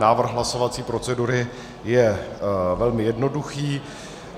Návrh hlasovací procedury je velmi jednoduchý.